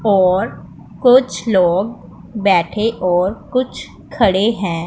और कुछ लोग बैठे और कुछ खड़े हैं।